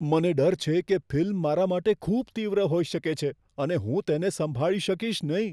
મને ડર છે કે ફિલ્મ મારા માટે ખૂબ તીવ્ર હોઈ શકે છે અને હું તેને સંભાળી શકીશ નહીં.